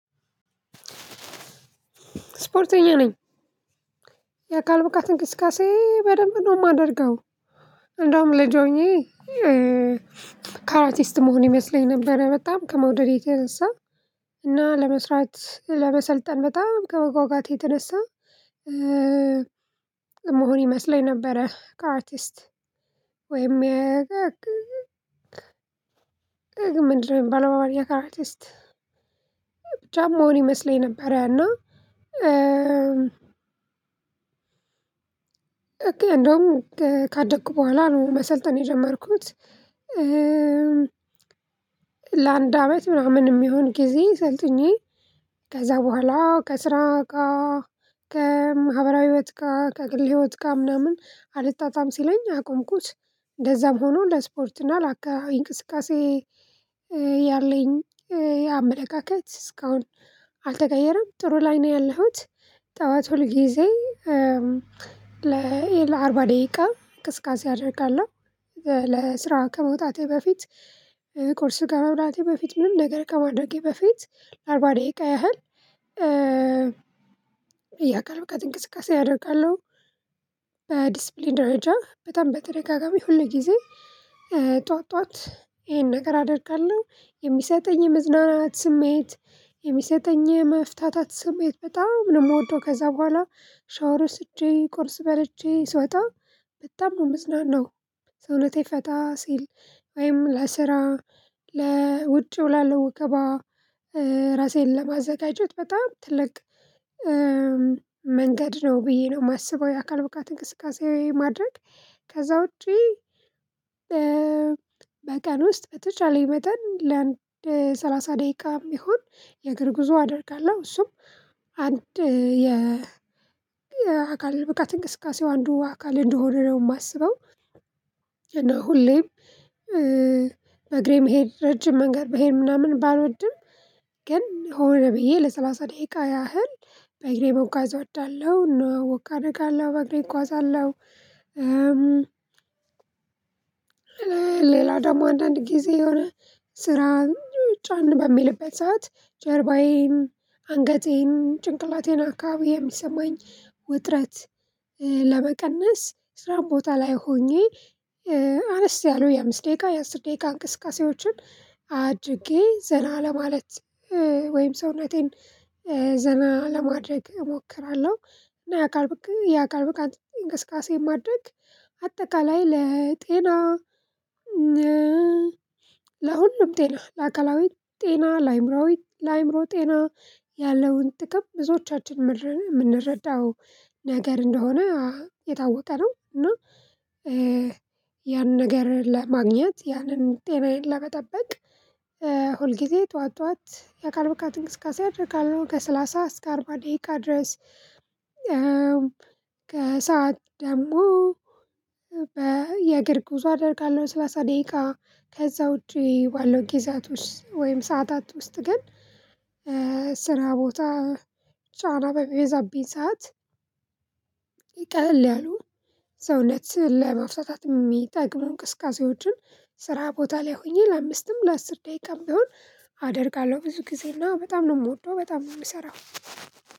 ስፖርተኛ ነኝ የአካል ብቃት እንቅስቃሴ በደንብ ነው የማደርገው። እንደውም ልጅ ሆኜ ካራቲስት ምሆን ይመስለኝ ነበረ በጣም ከመውደድ የተነሳ እና ለመስራት ለመሰልጠን በጣም ከመጓጓቴ የተነሳ የሚሆን ይመስለኝ ነበረ ከራቲስት ወይም ያዘግዝ ግን ምንድነው የሚባል በአማርኛ ከራቲስት ብቻ የሚሆን ይመስለኝ ነበር? እና እንደውም ካደኩ በኋላ ነው መሰልጠን የጀመርኩት ለአንድ አመት ምናምን የሚሆን ጊዜ ሰልጥኜ ከዛ በኋላ ከስራ ጋ ከማህበራዊ ህይወት ጋር ከግል ህይወት ጋር ምናምን አልጣጣም ሲለኝ አቆምኩት። እንደዛም ሆኖ ለስፖርት እና ለአካባቢ እንቅስቃሴ ያለኝ አመለካከት እስካሁን አልተቀየረም። ጥሩ ላይ ነው ያለሁት ጠዋት ሁል ጊዜ ለአርባ ደቂቃ እንቅስቀሴ አደርጋለሁ። ለስራ ከመውጣቴ በፊት ቁርስ ከመብላቴ በፊት ምንም ነገር ከማድረጌ በፊት ለአርባ ደቂቃ ያህል የአከል ብቀት እንቅስቃሴ አደርጋለሁ። በዲስፕሊን ደረጃ በጣም በተደጋጋሚ ሁል ጊዜ ጠዋት ጠዋት ይሄን ነገር አደርጋለሁ የሚሰጠኝ የመዝናናት ስሜት የሚሰጠኝ የመፍታታት ስሜት በጣም ነው የምወደው። ከዛ በኋላ ሻወር ወስጄ ቁርስ በልቼ ስወጣ በጣም ነው የምጽናነው ሰውነቴ ፈታ ሲል ወይም ለስራ ለውጪው ላለው ወከባ ራሴን ለማዘጋጀት በጣም ትልቅ መንገድ ነው ብዬ ነው የማስበው። የአካል ብቃት እንቅስቃሴ ማድረግ ከዛ ውጪ በቀን ውስጥ በተቻለኝ መጠን ለአንድ ሰላሳ ደቂቃም ይሁን የእግር ጉዞ አደርጋለሁ እሱም አንድ የ የአካል ብቃት እንቅስቃሴው አንዱ አካል እንደሆነ ነው የማስበው። እና ሁሌም በእግሬ መሄድ ረጅም መንገድ መሄድ ምናምን ባልወድም ግን ሆነ ብዬ ለሰለሰ ደቂቃ ያህል በእግሬ መጓዝ እወዳለሁ እና ወክ አደርገለሁ በእግሬ እጓዘለሁ። ሌላው ደግሞ አንዳንድ ጊዜ የሆነ ስራ ጫን በሚልበት ሰዓት ጀርባዬን አንገቴን ጭንቅላቴን አካባቢ የሚሰማኝ ውጥረት ለመቀነስ ስራም ቦታ ላይ ሆኜ አነስ ያሉ የአምስት ደቂቃ የአስር ደቂቃ እንቅስቃሴዎችን አድርጌ ዘና ለማለት ወይም ሰውነቴን ዘና ለማድረግ እሞክራለሁ። እና የአካል ብቃት የአካል ብቃት እንቅስቃሴ ማድረግ አጠቃላይ ለጤና ለሁሉም ጤና ለአካላዊም ጤና ለአእምሮያዊ ለአእምሮ ጤና ያለውን ጥቅም ብዙዎቻችን መረዳን የምንረዳው ነገር እንደሆነ የታወቀ ነው። እና ያንን ነገር ለማግኘት ያንን ጤናዬን ለመጠበቅ ሁል ጊዜ ጠዋት ጠዋት የአካል ብቃት እንቅስቃሴ አደርጋለሁ ከሰላሳ እስከ አርባ ደቂቃ ድረስ ከሰአት ደግሞ የእግር ጉዞ አደርጋለሁ። ለሠላሳ ደቂቃ ከዛ ውጪ ባለው ጊዜያቶች ወይም ሰዓታት ውስጥ ግን ስራ ቦታ ጫና በምበዛብኝ ሰዓት ቀለሉ ያሉ ሰውነት ለመፍታት የሚጠቅሙ እንቅስቀሴዎችን ስራ ቦታ ላይ ሆኜ ለአምስትም ለአስር ደቂቃም ቢሆን አደርጋለሁ ብዙ ጊዜ እና በጣም ነው የምወደው በጣም ነው የምሰራው።